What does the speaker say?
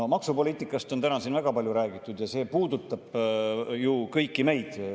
No maksupoliitikast on täna siin väga palju räägitud ja see puudutab ju meid kõiki.